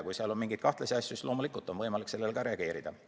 Kui seal on mingeid kahtlasi asju, siis loomulikult on võimalik sellele ka reageerida.